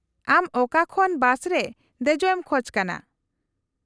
-ᱟᱢ ᱚᱠᱟ ᱠᱷᱚᱱ ᱵᱟᱥ ᱨᱮ ᱫᱮᱡᱚᱜ ᱮᱢ ᱠᱷᱚᱡ ᱠᱟᱱᱟ ?